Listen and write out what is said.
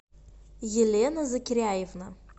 елена закиряевна